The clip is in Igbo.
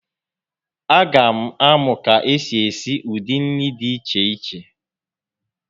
A ga m amụ ka esi esi ụdị nri dị iche iche